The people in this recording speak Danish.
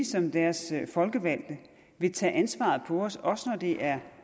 som deres folkevalgte vil tage ansvaret på os også når det er